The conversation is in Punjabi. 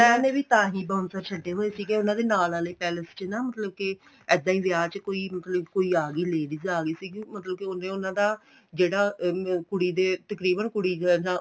ਉਹਨਾ ਨੇ ਤਾਂਹੀ bouncer ਛੱਡੇ ਹੋਏ ਸੀਗੇ ਉਹਨਾ ਦੇ ਨਾਲ ਵਾਲੇ palace ਚ ਨਾ ਮਤਲਬ ਕੇ ਇਹਦਾ ਹੀ ਵਿਆਹ ਚ ਕੋਈ ਮਤਲਬ ਕੋਈ ਆ ਗਈ ladies ਆ ਗਈ ਸੀਗੀ ਮਤਲਬ ਕੀ ਉਹਨੇ ਉਹਨਾ ਦਾ ਜਿਹੜਾ ਕੁੜੀ ਦੇ ਤਕਰੀਬਨ ਕੁੜੀ ਦੇ